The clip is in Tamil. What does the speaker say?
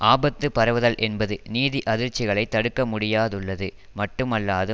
ஆபத்து பரவுதல் என்பது நிதி அதிர்ச்சிகளை தடுக்கமுடியாதுள்ளது மட்டுமல்லாது